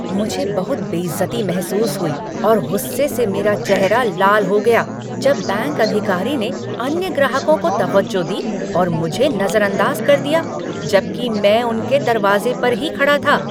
मुझे बहुत बेइज्जती महसूस हुई और गुस्से से मेरा चेहरा लाल हो गया जब बैंक अधिकारी ने अन्य ग्राहकों को तवज्जो दी और मुझे नजरअंदाज कर दिया, जबकि मैं उनके दरवाजे पर ही खड़ा था।